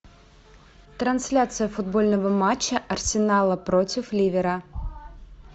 трансляция футбольного матча арсенала против ливера